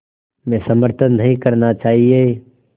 में समर्थन नहीं करना चाहिए